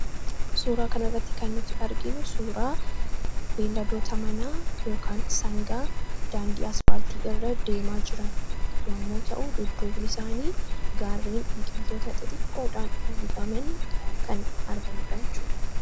Suuraa kan irratti kannuti arginu suuraa beeladoota manaa sangaa daandii aspaaltii irra deemaa jiran yommuu ta'u dudduubni isaanii gaarren biqiiltoota xixiqqoodhaan uwwifaman kan argamudha jachuudha.